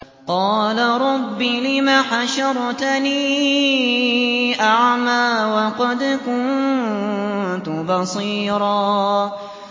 قَالَ رَبِّ لِمَ حَشَرْتَنِي أَعْمَىٰ وَقَدْ كُنتُ بَصِيرًا